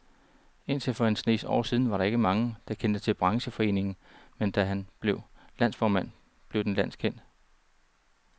Indtil for en snes år siden var der ikke mange, der kendte til brancheforeningen, men da han blev landsformand, blev den landskendt.